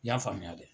I y'a faamuya dɛ